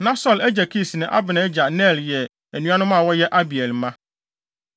Na Saulo agya Kis ne Abner agya Ner yɛ anuanom a wɔyɛ Abiel mma.